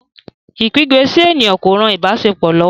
Ikígbe sí ènìyàn kò rán ìbáṣepọ lówó.